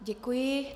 Děkuji.